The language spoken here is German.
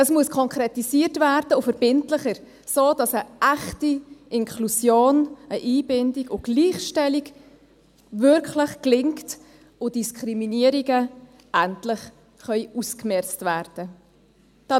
Es muss konkretisiert und verbindlicher werden, sodass eine echte Inklusion, eine Einbindung und Gleichstellung wirklich gelingt und Diskriminierungen endlich ausgemerzt werden können.